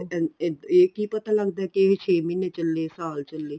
ਇਹ ਕੀ ਪਤਾ ਲਗਦਾ ਕੀ ਇਹ ਛੇ ਮਹੀਨੇ ਚਲੇ ਕੇ ਸਾਲ ਚਲੇ